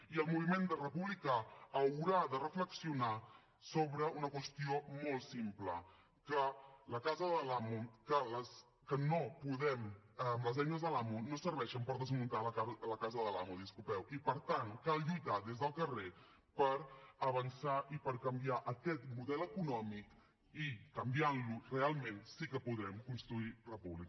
i el moviment republicà haurà de reflexionar sobre una qüestió molt simple que les eines de l’amo no serveixen per desmuntar la casa de l’amo i per tant cal lluitar des del carrer per avançar i per canviar aquest model econòmic i canviant lo realment sí que podrem construir república